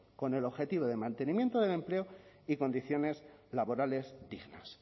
con el objetivo de mantenimiento del empleo y condiciones laborales dignas